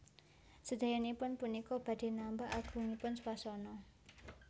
Sedayanipun punika badhé nambah agungipun swasana